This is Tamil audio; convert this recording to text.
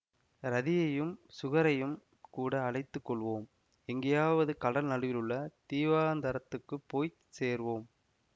ரதியையும் சுகரையும் கூட அழைத்து கொள்வோம் எங்கேயாவது கடல் நடுவிலுள்ள தீவாந்தரத்துக்குப் போய் சேர்வோம்